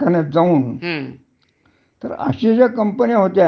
परवडतच नाही ना. हा, परवडायना. बरोबर आहे. हा. तर अश्या याच्या